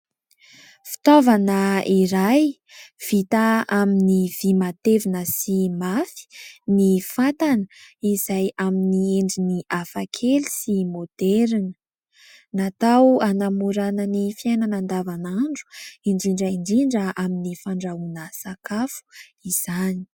Fitaovana iray vita amin'ny vỳ matevina sy mafy ny fatana izay amin'ny endriny hafakely sy maoderina. Natao hanamorana ny fiainana andavanandro indrindra indrindra amin'ny fandrahoana sakafo izany.